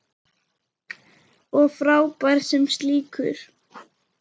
Og frábær sem slíkur.